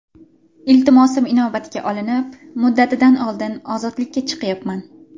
Iltimosim inobatga olinib, muddatidan oldin ozodlikka chiqyapman.